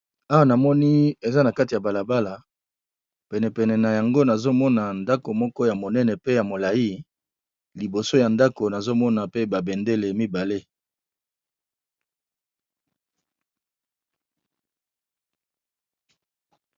Awa na moni eza na kati ya balabala, penepene na yango nazo mona ndako moko ya monene pe ya molayi, liboso ya ndako nazo mona pe ba bendele mibale .